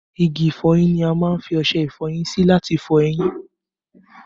Igi ìfọyín ni a má ń fi ọṣẹ ìfọyín sí láti fọ eyín